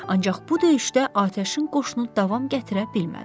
Ancaq bu döyüşdə atəşin qoşunu davam gətirə bilmədi.